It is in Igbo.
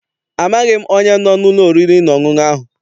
Amaghị m onye no n'ụlọ oriri na ọṅụṅụ ahụ.